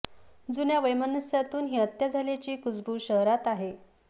जुन्या वैमनस्यातून ही हत्या झाल्याची कुजबूज शहरात आहे